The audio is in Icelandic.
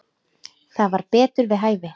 Það var betur við hæfi.